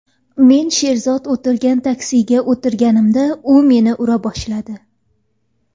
Men Sherzod o‘tirgan taksiga o‘tirganimda u meni ura boshladi.